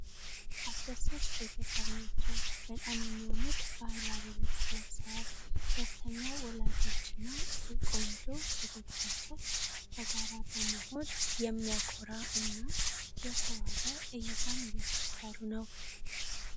አስደሳች ቤተሰብ ናቸወ! በጣም የሚያምር ባህላዊ ልብስ ለብሰዋል። ደስተኛ ወላጆችና ቆንጆ ልጆቻቸው በጋራ በመሆን የሚያኮራ እና የተዋበ እይታን እየፈጠሩ ነው።